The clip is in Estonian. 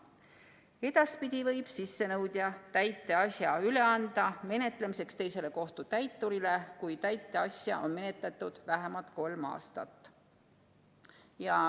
Edaspidi võib sissenõudja täiteasja üle anda menetlemiseks teisele kohtutäiturile, kui täiteasja on menetletud vähemalt kolm aastat.